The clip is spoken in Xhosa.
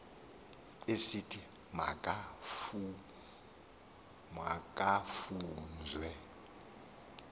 esithi ma kufunzwe